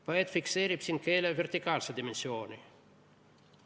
Poeet fikseerib siin keele vertikaalse dimensiooni.